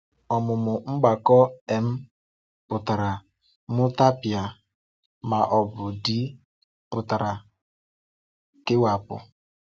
Ọ̀mụ̀mụ̀ mgbakọ́—‘M’ pụtara ‘Mụtàpịa’, ma ọ bụ ‘D’ pụtara ‘Kewapụ̀’.